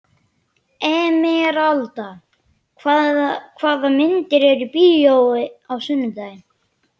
Emeralda, hvaða myndir eru í bíó á sunnudaginn?